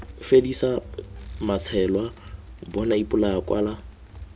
fedisa matsheloa bona ipolaya kwala